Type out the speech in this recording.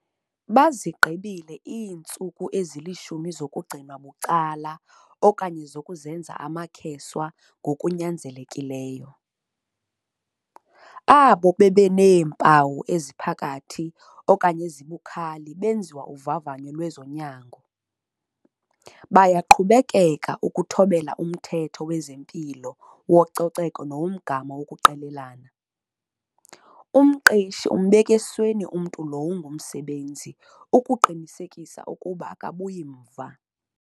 Bazigqibile iintsuku ezili-10 zokugcinwa bucala okanye zokuzenza amakheswa ngokunyanzelekileyo. Abo bebeneempawu eziphakathi okanye ezibukhali benziwa uvavanyo lwezonyango. Bayaqhubeka ukuthobela umthetho wezempilo wococeko nowomgama wokuqelelana. Umqeshi umbeka esweni umntu lowo ungumsebenzi ukuqinisekisa ukuba akabuyi mva.